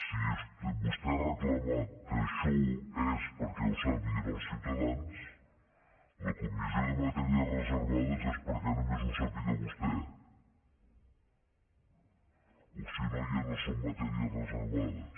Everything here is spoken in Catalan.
si vostè ha reclamat que això és perquè ho sàpiguen els ciutadans la comissió de matèria reservades és perquè només ho sàpiga vostè o si no ja no són matèries reservades